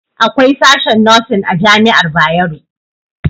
Akwai sashen nosin a jami'ar Bayero